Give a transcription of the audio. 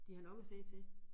De har nok at se til